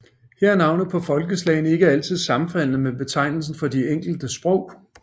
Her er navnet på folkeslagene ikke altid sammenfaldende med betegnelsen for de enkelte sprog